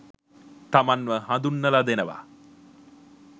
තමන්ව හඳුන්නල දෙනවා